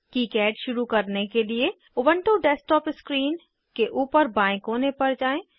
KiCad शुरू करने के लिए उबन्टु डेस्कटॉप स्क्रीन के ऊपर बाएं कोने पर जाएँ